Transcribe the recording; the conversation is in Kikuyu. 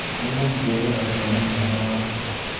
Nĩngũmũcerera kuona mwana wake